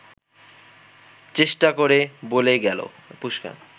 চেষ্টা করে বলে গেল